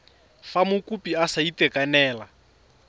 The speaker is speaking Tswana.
fa mokopi a sa itekanela